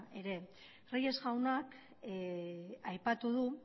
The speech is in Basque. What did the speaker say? ere reyes jaunak aipatu du